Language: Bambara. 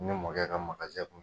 Ne mɔkɛ ka kun